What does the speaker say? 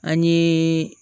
An ye